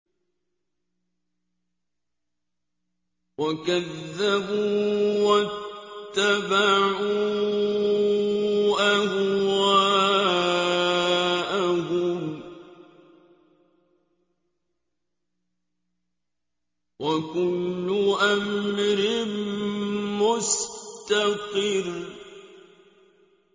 وَكَذَّبُوا وَاتَّبَعُوا أَهْوَاءَهُمْ ۚ وَكُلُّ أَمْرٍ مُّسْتَقِرٌّ